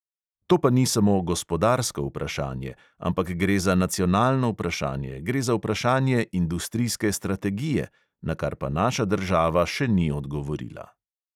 To pa ni samo gospodarsko vprašanje, ampak gre za nacionalno vprašanje, gre za vprašanje industrijske strategije, na kar pa naša država še ni odgovorila.